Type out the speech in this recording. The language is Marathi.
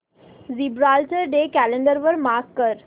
जिब्राल्टर डे कॅलेंडर वर मार्क कर